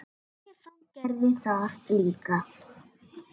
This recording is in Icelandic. Stefán gerði það líka.